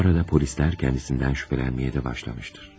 Bu arada polislər kədisindən şübhələnməyə də başlamışdır.